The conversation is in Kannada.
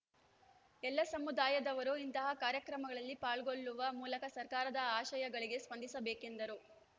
ಎಲ್ಲ ಸಮುದಾಯದವರು ಇಂತಹ ಕಾರ್ಯಕ್ರಮಗಳಲ್ಲಿ ಪಾಲ್ಗೊಳ್ಳುವ ಮೂಲಕ ಸರ್ಕಾರದ ಆಶಯಗಳಿಗೆ ಸ್ಪಂದಿಸಬೇಕೆಂದರು